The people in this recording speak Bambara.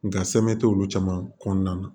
Nka sɛmɛ tɛ olu caman kɔnɔna na